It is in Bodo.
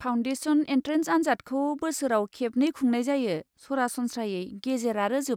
फाउन्डेसन एन्ट्रेन्स आनजादखौ बोसोराव खेबनै खुंनाय जायो, सरासनस्रायै गेजेर आरो जोबनायाव।